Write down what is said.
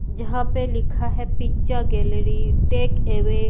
जहां पे लिखा है पिक्चर गैलरी टेक अवे --